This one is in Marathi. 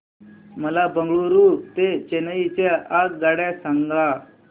मला बंगळुरू ते चेन्नई च्या आगगाड्या सांगा